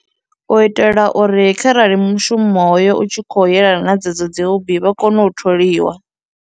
U itela uri kharali mushumo hoyo u tshi khou yelana na dzedzo dzi hobbie vha kone u tholiwa.